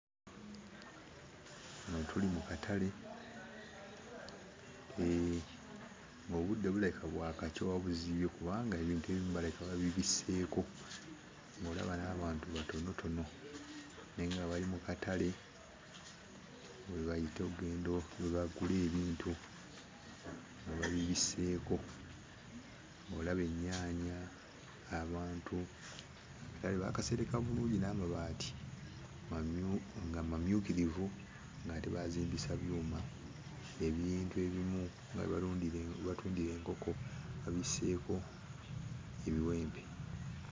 Wano tuli mu katale, ng'obudde bulabika bwakakya oba buzibye kubanga ebintu ebimu balabika babibisseeko, ng'olaba n'abantu batonotono naye nga bali mu katale, we bayita oggenda we bagula ebintu, nga babibisseeko. Ng'olaba ennyaanya, abantu, akatale baakasereka bulungi n'amabaati mamyu nga mamyukirivu ng'ate baazimbisa byuma, ebintu ebimu nga we balundira we batundira enkoko babisseeko ebiwempe.